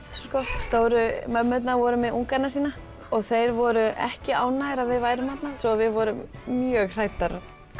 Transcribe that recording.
stóru mömmurnar voru með ungana sína og þeir voru ekki ánægðir að við værum þarna svo við vorum mjög hræddar